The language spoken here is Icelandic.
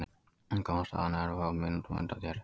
Hann kom á staðinn örfáum mínútum á undan þér